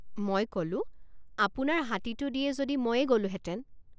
মই কলো আপোনাৰ হাতীটো দিয়ে যদি ময়েই গলোঁহেতেন।